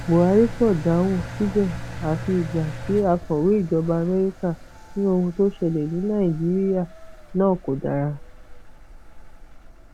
buhari kò dáhùn síbẹ àfi nígbà tí akọwé ìjọba amẹríkà ní ohun tó ṣẹlẹ ní nàìjíríà náà kò dára